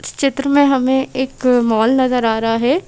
चित्र में हमें एक मॉल नजर आ रहा है।